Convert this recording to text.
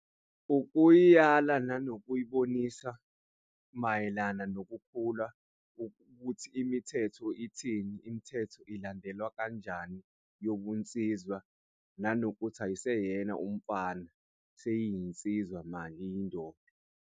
Ukuyiyala nanokuyibonisa mayelana nokukhula ukuthi imithetho ithini, imithetho ilandelwa kanjani yobunsizwa nanokuthi ayiseyena umfana seyinsizwa manje, uyindoda.